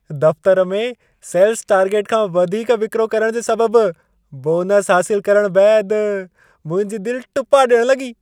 दफ़्तर में sales target खां वधीक विक्रो करण जे सबबु बोनसु हासिलु करण बैदि मुंहिंजी दिलि टुपा डि॒यणु लॻी।